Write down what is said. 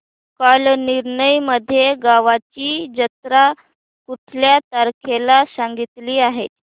कालनिर्णय मध्ये गावाची जत्रा कुठल्या तारखेला सांगितली आहे